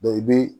i bi